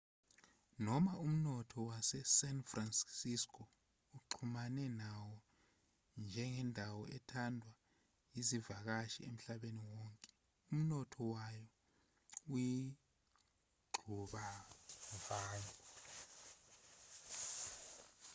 noma umnotho wase-san francisco uxhumane nawo njengendawo ethandwa yizivakashi emhlabeni wonke umnotho wayo uyingxubevange